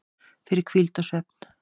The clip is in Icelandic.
fyrir hvíld og svefn